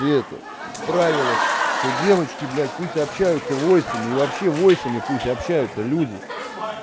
и это в правилах что девочки блять пусть общаются войсами и вообще войсами пусть общаются люди